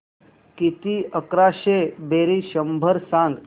किती अकराशे बेरीज शंभर सांग